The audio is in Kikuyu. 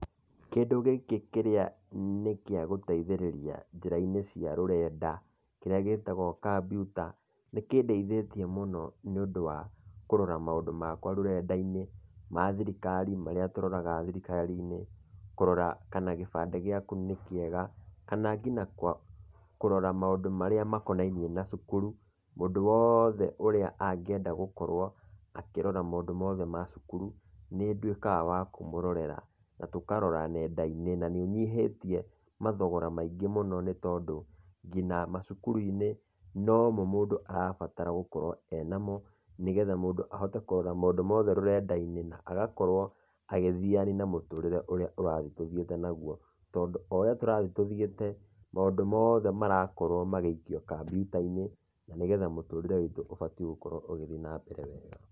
Kĩndũ gĩkĩ kĩrĩa nĩ kĩa gũteithĩrĩria njĩra-inĩ cia rũrenda kĩrĩa gĩtagwo kambiuta, nĩ kĩndeithĩtie mũno nĩũndũ wa kũrora maũndũ makwa rũrenda-inĩ, ma thirikari, marĩa tũroraga thirikarinĩ, kũrora kana gĩbandĩ gĩaku nĩ kĩega kana nginya kũrora maũndũ marĩa makonainie na cukuru, mũndũ wothe ũrĩa angĩenda gũkorwo akĩrora maũndũ ma cukuru nĩ nduĩkaga wa kũmũrorera na tũkarora nenda-inĩ na nĩĩnyihĩtie mathogora maingĩ mũno nĩ tondũ nginya macukuru-inĩ, no mo mũndũ arabatara gũkorwo e namo nĩgetha mũndũ ahote kũrora maũndũ mothe rũrenda-inĩ na agakorwo agĩthiĩ arĩ na mũtũrĩre ũrĩa ũrathi tũthiĩte naguo tondũ o ũrĩa tũrathi tũthiĩte, maũndũ mothe marakorwo magĩikio kambiuta-inĩ na nĩgetha mũtũrĩre witũ ũbatiĩ gũkorwo ũgĩthiĩ nambere wega.